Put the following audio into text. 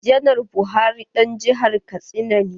Janar Buhari ɗan jihar katsina ne.